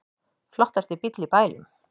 Flottasti bíll í bænum